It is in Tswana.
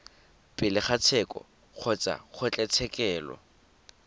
pele ga tsheko kgotsa kgotlatshekelo